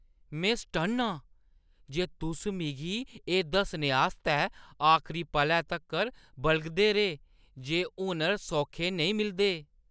में सटन्न आं जे तुस मिगी एह् दस्सने आस्तै आखरी पलै तक्कर बलगदे रेह् जे हुनर सौखे नेईं मिलदे।